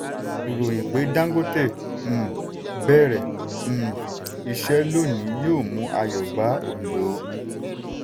ìròyìn pé dangote um bẹ̀rẹ̀ um iṣẹ́ lónìí yóò mú ayọ̀ bá òǹdó.